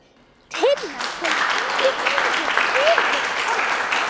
Tinna kom tíu mínútur yfir tólf.